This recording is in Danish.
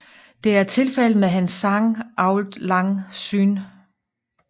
Det er tilfældet med hans sang Auld Lang Syne